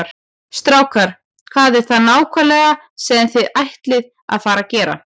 Strákar, hvað er það nákvæmlega sem þið ætlið að fara að gera?